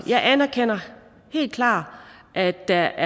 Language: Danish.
jeg anerkender helt klart at der